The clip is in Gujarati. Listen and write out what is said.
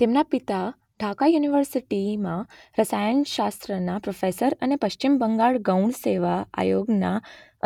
તેમના પિતા ઢાકા યુનિવર્સિટીમાં રસાયણશાસ્ત્રના પ્રોફેસર અને પશ્ચિમ બંગાળ ગૌણ સેવા આયોગના